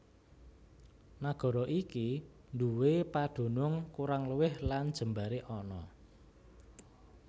Nagara iki nduwé padunung kurang luwih lan jembaré ana